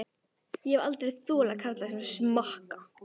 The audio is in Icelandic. Ég hef aldrei þolað karla sem smakka.